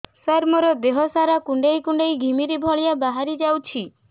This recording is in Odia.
ସାର ମୋର ଦିହ ସାରା କୁଣ୍ଡେଇ କୁଣ୍ଡେଇ ଘିମିରି ଭଳିଆ ବାହାରି ଯାଉଛି